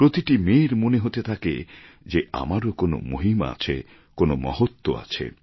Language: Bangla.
প্রতিটি মেয়ের মনে হতে থাকে যে আমারও কোন মহিমা আছে কোনো মহত্ত্ব আছে